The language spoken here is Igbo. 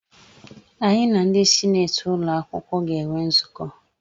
Anyị na ndị sineeti ụlọakwụkwọ ga-enwe nzukọ.